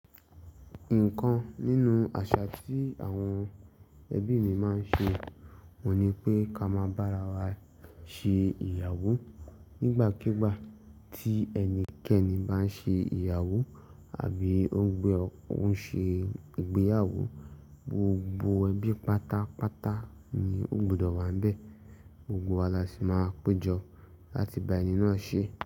Ikan nínú àṣà tí àwọn ẹbí mi máa ń ṣe òun ní pé ká máa bára wa ṣe ìyàwó. Nígbàkigbà tí ẹnikẹ́ni bá ń ṣe ìyàwó àbí ó ń ṣe ìgbéyàwó, gbogbo ẹbí pátápátá ni ó gbọdọ̀ wànbẹ́. Gbogbo wa la si máa péjọ láti bá ẹni náà ṣe.